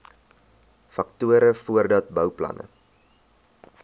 faktore voordat bouplanne